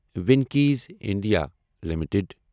Venky's India limited